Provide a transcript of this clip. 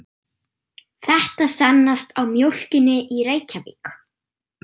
Þetta sannast á mjólkinni í Reykjavík.